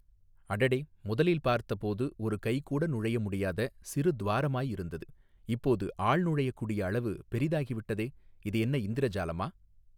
அடடே முதலில் பார்த்தபோது ஒரு கைகூட நுழையமுடியாத சிறு துவாரமாயிருந்தது இப்போது ஆள் நுழையக்கூடிய அளவு பெரிதாகிவிட்டதே இது என்ன இந்திர ஜாலமா.